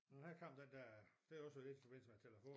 Men her kom den dér det også lidt i forbindelse med telefon